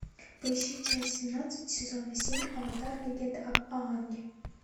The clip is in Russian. поищи часть семнадцать сезона семь аватар легенда об аанге